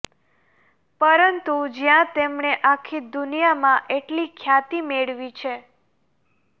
પરંતુ જ્યાં તેમણે આખી દુનિયામાં એટલી ખ્યાતી મેળવી છે